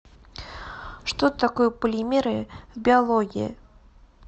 что такое полимеры в биологии